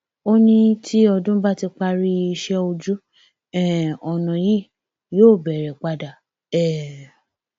ó ní tí ọdún bá ti parí iṣẹ ojú um ọnà yìí yóò bẹrẹ padà um